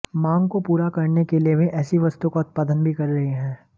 मांग को पूरा करने के लिए वे ऐसी वस्तुओं का उत्पादन भी कर रहे हैं